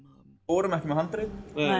vorum ekki með handrit